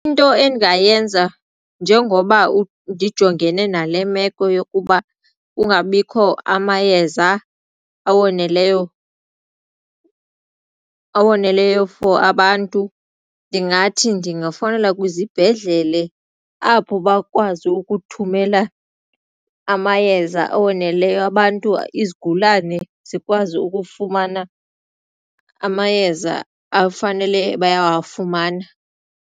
Into endingayenza njengoba ndijongene nale meko yokuba kungabikho amayeza awoneleyo, awoneleyo for abantu ndingathi ndingafowunela kwizibhedlele apho bakwazi ukuthumela amayeza awoneleyo abantu izigulane zikwazi ukufumana amayeza afanele bayawafumana.